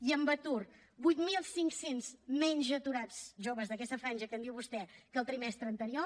i en atur vuit mil cinc cents menys aturats joves d’aquesta franja que em diu vostè que el trimestre anterior